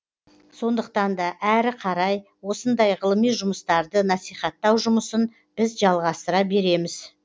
сондықтан да әрі қарай осындай ғылыми жұмыстарды насихаттау жұмысын біз жалғастыра береміз